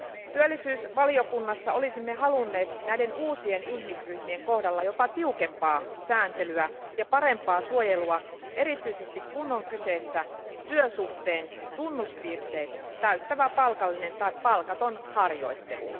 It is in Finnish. Työllisyysvaliokunnassa olisimme halunneet näiden uusien ihmisryhmien kohdalla jopa tiukempaa sääntelyä ja parempaa suojelua erityisesti, kun on kyseessä työsuhteen tunnuspiirteet täyttävä palkallinen tai palkaton harjoittelu.